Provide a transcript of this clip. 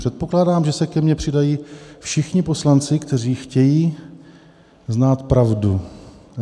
Předpokládám, že se ke mě přidají všichni poslanci, kteří chtějí znát pravdu.